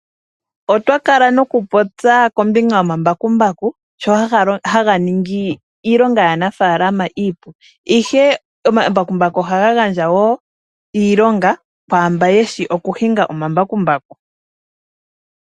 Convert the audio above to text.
Otwa Kala nokupopya ombakumbaku nkene haga ningi iilonga yaanafaalama iipu . Ombakumbaku ohaga etapo woo oompito dhiilonga kaantu mboka yeshi okuhinga omambakumbaku.